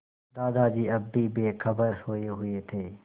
दादाजी अब भी बेखबर सोये हुए थे